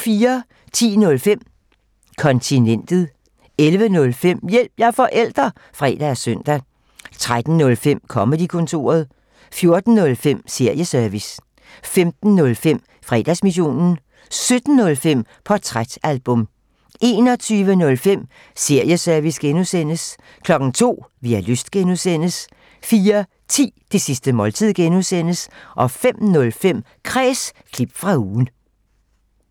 10:05: Kontinentet 11:05: Hjælp – jeg er forælder! (fre og søn) 13:05: Comedy-kontoret 14:05: Serieservice 15:05: Fredagsmissionen 17:05: Portrætalbum 21:05: Serieservice (G) 02:00: Vi har lyst (G) 04:10: Det sidste måltid (G) 05:05: Kræs – klip fra ugen